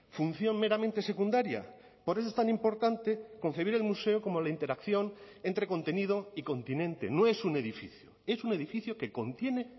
función meramente secundaria por eso es tan importante concebir el museo como la interacción entre contenido y continente no es un edificio es un edificio que contiene